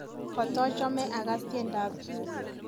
Katachome akass tiendoab Jizz